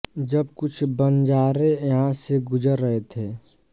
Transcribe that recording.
जब कुछ बंजारे यहां से गुजर रहे थे